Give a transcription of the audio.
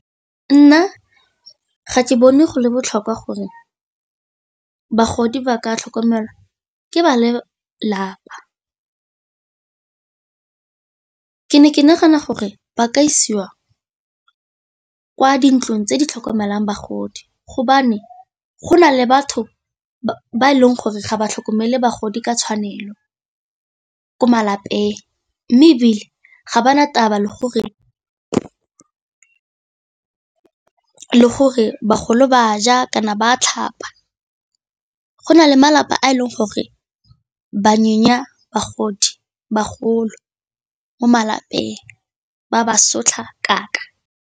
Nna ga ke bone go le botlhokwa gore bagodi ba ka tlhokomelwa ke ba lelapa, ke ne ke nagana gore ba ka isiwa ke kwa dintlong tse di tlhokomelang bagodi hobane go na le batho ba e leng gore ga ba tlhokomele bagodi ka tshwanelo ko malapeng. Mme ebile ga ba na taba le gore bagolo ba ja kana ba a tlhapa, go na le malapa a e leng gore ba nyonya bagodi bagolo mo malapeng ba ba sotlha kaka.